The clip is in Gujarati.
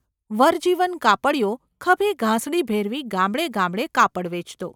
વરજીવન કાપડિયો ખભે ગાંસડી ભેરવી ગામડે ગામડે કાપડ વેચતો.